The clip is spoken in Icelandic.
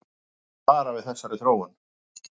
Læknar hafa varað við þessari þróun